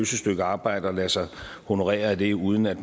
stykke arbejde og lade sig honorere af det uden at